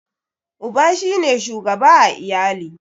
Uba shi ne shugaba a iyali.